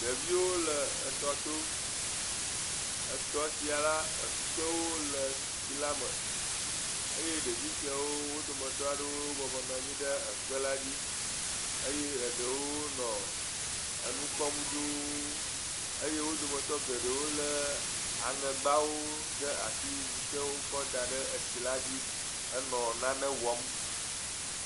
Ɖeviwo le etɔto. Etɔ sia le ekpewo le tsila me. Eye ɖevi siawo wo dometɔ aɖewo bɔbɔ nɔ anyi ɖe kpela dzi. eye eɖewo nɔ enu kpɔm dũuu. Eye wo dometɔ geɖewo lé aŋɛgbawo ɖe asi, si ke wokɔ da ɖe tsila dzi henɔ nane wɔm.